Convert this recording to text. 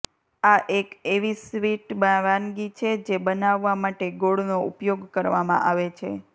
આ એક એવી સ્વીટ વાનગી છે જે બનાવવા માટે ગોળનો ઉપયોગ કરવામાં આવે છે